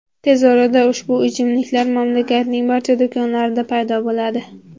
Tez orada ushbu ichimliklar mamlakatning barcha do‘konlarida paydo bo‘ladi.